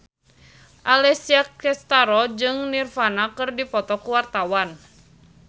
Alessia Cestaro jeung Nirvana keur dipoto ku wartawan